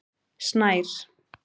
Snær